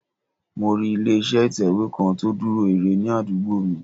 Mo rí ilé iṣẹ́ ìtẹ̀wé kan tó dúró ire ní àdúgbò mi